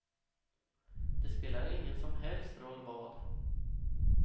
Det spelade ingen som helst roll vad.